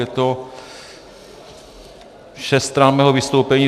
Je to šest stran mého vystoupení.